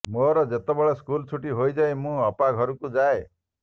ମୋର ଯେତେବେଳେ ସ୍କୁଲ୍ ଛୁଟି ହୋଇଯାଏ ମୁଁ ଅପା ଘରକୁ ଯାଏ